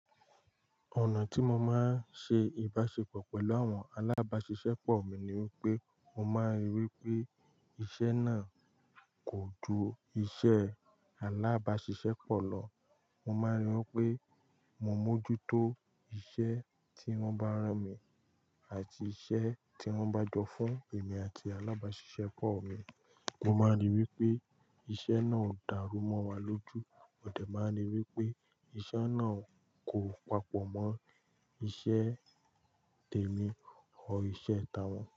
Ọ̀nà tí mo máa ń ṣe ìbáṣepọ̀ pẹ̀lú àwọn alábáṣiṣẹ́pọ̀ mi ni wípé, mo máa ń ríi wípé iṣẹ́ náà kò ju iṣẹ́ alábáṣiṣẹ́pọ̀ lọ. Mo máa ń ríi wípé mo mójú tó iṣẹ́ tí wọ́n bá rán mi àti iṣẹ́ tí wọ́n bá jọ fún èmi àti alábáṣiṣẹ́pọ̀ mi. Mo máa ń rí i wípé iṣẹ́ náà ń ó dàrú mọ́ wa lójú. Modẹ̀ máa ń rí i wípé iṣẹ́ náà kò papọ̀ mọ́ iṣẹ́ tèmi or iṣẹ́ ta wọ́n.